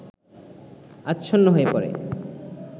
আচ্ছন্ন হয়ে পড়ে